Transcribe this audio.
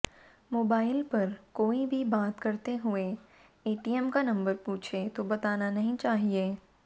mobile पर कोई भी बात करते हुए एटीएम का नम्बर पूछे तो बताना नहीं चाहिए